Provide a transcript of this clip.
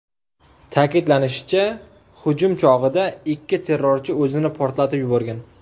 Ta’kidlanishicha, hujum chog‘ida ikki terrorchi o‘zini portlatib yuborgan.